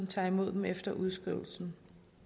tager imod dem efter udskrivelsen